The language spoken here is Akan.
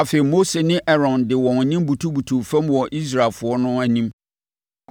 Afei, Mose ne Aaron de wɔn anim butubutuu fam wɔ Israelfoɔ no anim.